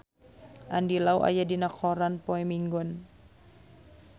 Andy Lau aya dina koran poe Minggon